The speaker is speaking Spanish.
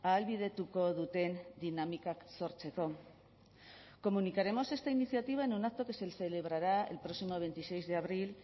ahalbidetuko duten dinamikak sortzeko comunicaremos esta iniciativa en un acto que se celebrará el próximo veintiséis de abril